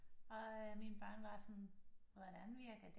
Og mine børn var sådan hvordan virker det